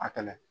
A kɛlɛ